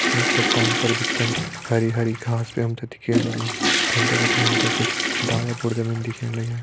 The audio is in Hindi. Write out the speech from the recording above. वि चट्टान पर बिचम हरी हरी घास भी हम ता दिखेण लगीं फंडे बिटि हम ते कुछ डाला बुरदा भी दिखेण लग्यां।